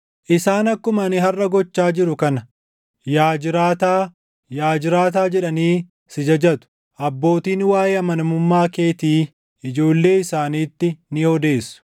Isaan akkuma ani harʼa gochaa jiru kana yaa jiraataa, yaa jiraataa jedhanii si jajatu; abbootiin waaʼee amanamummaa keetii ijoollee isaaniitti ni odeessu.